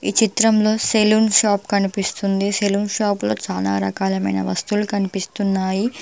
ఈ చిత్రంలో salon shop కనిపిస్తుంది సెలూన్ షాప్ లో చానా రకాలమైన వస్తువులు కన్పిస్తున్నాయి.